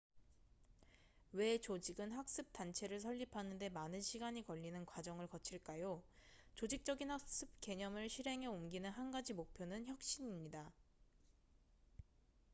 왜 조직은 학습 단체를 설립하는 데 많은 시간이 걸리는 과정을 거칠까요 조직적인 학습 개념을 실행에 옮기는 한 가지 목표는 혁신입니다